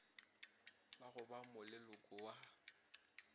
ba go ba moleloko wa